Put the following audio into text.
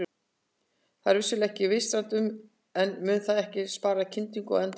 Það er vissulega ekki vistvænt en mun það ekki spara kyndingu á endanum?